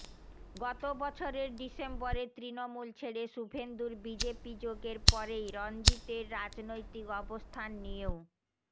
গত বছরের ডিসেম্বরে তৃণমূল ছেড়ে শুভেন্দুর বিজেপি যোগের পরেই রণজিতের রাজনৈতিক অবস্থান নিয়েও